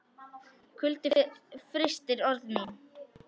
Kuldinn frystir orð mín.